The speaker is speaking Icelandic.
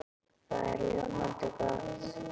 Það er ljómandi gott!